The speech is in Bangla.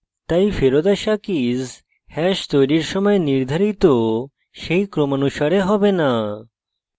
তাই ফেরত so কীস hash তৈরীর সময় নির্ধারিত সেই ক্রমানুসারে হবে so